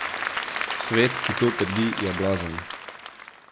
Svet, ki to trdi, je blazen.